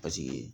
Paseke